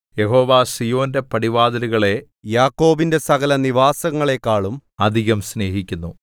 യഹോവ സീയോന്റെ പടിവാതിലുകളെ യാക്കോബിന്റെ സകലനിവാസങ്ങളെക്കാളും അധികം സ്നേഹിക്കുന്നു